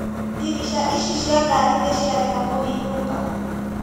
Ndirica ici cia ngari nĩciarega kũhingũka.